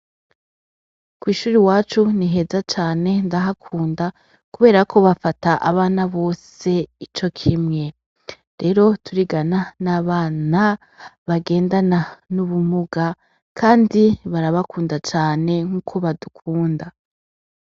Kwishuri iwacu ni heza cane ndahakunda kubera ko bafata abana bose icokimwe rero turigana n' abana bagendana n' ubumuga kandi barabakunda cane nkuko badukunda.